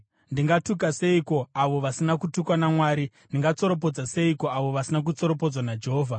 Ndingatuka seiko avo vasina kutukwa naMwari? Ndingatsoropodza seiko avo vasina kutsoropodzwa naJehovha?